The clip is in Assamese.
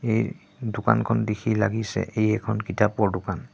এই দোকানখন দেখি লাগিছে এই এখন কিতাপৰ দোকান।